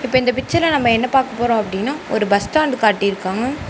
இப்ப இந்த பிச்சர்ல நம்ம என்ன பாக்க போறோம் அப்படினா ஒரு பஸ் ஸ்டாண்ட் காட்டி இருக்காங்க.